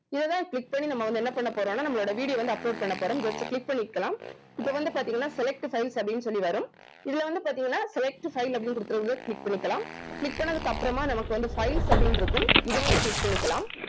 இதை தான் click பண்ணி நம்ம வந்து என்ன பண்ண போறோம்னா நம்மளுடைய video வந்து upload பண்ண போறோம் just click பண்ணிக்கலாம் இப்ப வந்து பாத்தீங்கன்னா select files அப்படின்னு சொல்லி வரும் இதுல வந்து பாத்தீங்கன்னா select file அப்படின்னு குடுத்திருக்கிறத click பண்ணிக்கலாம் click பண்ணதுக்கு அப்புறமா நமக்கு வந்து files அப்படின்னு இருக்கும் இத வந்து click பண்ணிக்கலாம்